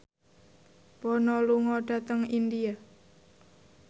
Bono lunga dhateng India